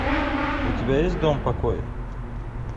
у тебя есть дом покоя